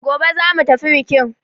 Gobe za mu tafi biƙin!